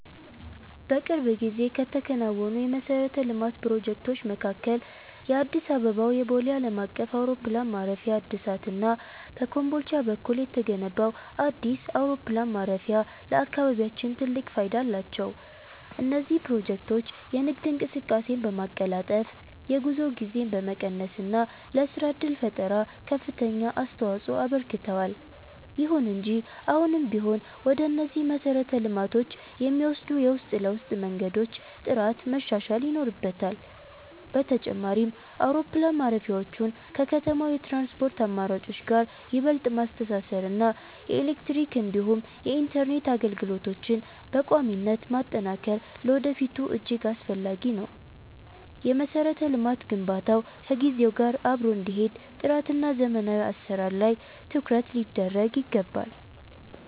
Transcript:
በቅርብ ጊዜ ከተከናወኑ የመሠረተ ልማት ፕሮጀክቶች መካከል የአዲስ አበባው የቦሌ ዓለም አቀፍ አውሮፕላን ማረፊያ እድሳት እና በኮምቦልቻ በኩል የተገነባው አዲስ አውሮፕላን ማረፊያ ለአካባቢያችን ትልቅ ፋይዳ አላቸው። እነዚህ ፕሮጀክቶች የንግድ እንቅስቃሴን በማቀላጠፍ፣ የጉዞ ጊዜን በመቀነስ እና ለሥራ ዕድል ፈጠራ ከፍተኛ አስተዋፅኦ አበርክተዋል። ይሁን እንጂ አሁንም ቢሆን ወደ እነዚህ መሰረተ ልማቶች የሚወስዱ የውስጥ ለውስጥ መንገዶች ጥራት መሻሻል ይኖርበታል። በተጨማሪም፣ አውሮፕላን ማረፊያዎቹን ከከተማው የትራንስፖርት አማራጮች ጋር ይበልጥ ማስተሳሰር እና የኤሌክትሪክ እንዲሁም የኢንተርኔት አገልግሎቶችን በቋሚነት ማጠናከር ለወደፊቱ እጅግ አስፈላጊ ነው። የመሠረተ ልማት ግንባታው ከጊዜው ጋር አብሮ እንዲሄድ ጥራትና ዘመናዊ አሠራር ላይ ትኩረት ሊደረግ ይገባል።